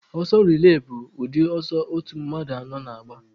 Ọsọ relay bụ ụdị ọsọ otu mmadụ anọ na-agba.